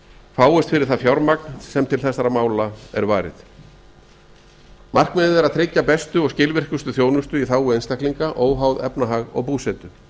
fáist fyrir það fjármagn sem til þessara mála er varið markmiðið er að tryggja bestu og skilvirkustu þjónustu í hag einstaklinga óháð efnahag og búsetu